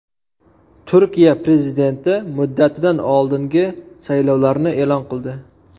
Turkiya prezidenti muddatidan oldingi saylovlarni e’lon qildi.